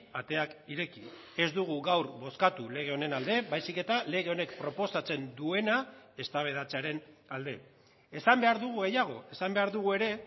ateak ireki ez dugu gaur bozkatu lege honen alde baizik eta lege honek proposatzen duena eztabaidatzearen alde esan behar dugu gehiago esan behar dugu ere